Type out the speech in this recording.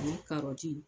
Ani karɔti